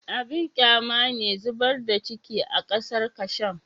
Abin kyama ne zubar da ciki a kasar kasham